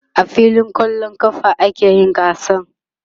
a filin kwallon ƙafa a kayi gasar